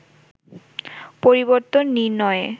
পরিবর্তন নির্ণয়ে